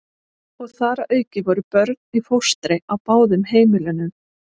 Og þar að auki voru börn í fóstri á báðum heimilunum.